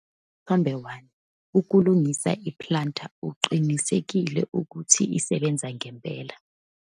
Isithombe 1- Ukulungisa i-planter uqinisekise ukuthi isebenza ngempela.